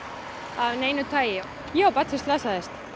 af neinu tagi ég á barn sem slasaðist